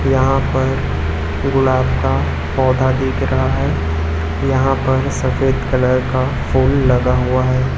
यहां पर गुलाब का पौधा दिख रहा है यहां पर सफेद कलर का फूल लगा हुआ है।